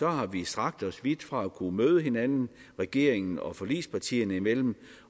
har vi strakt os vidt for at kunne møde hinanden regeringen og forligspartierne imellem